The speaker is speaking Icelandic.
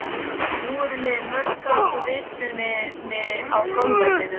Nú eru liðin mörg ár frá vitruninni á golfvellinum.